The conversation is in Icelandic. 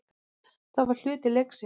Það var hluti leiksins.